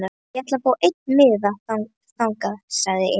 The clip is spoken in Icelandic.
Þá ætla ég að fá einn miða þangað, sagði Emil.